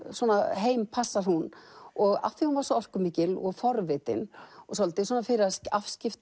heim passar hún og af því hún var svo orkumikil og forvitin og svolítið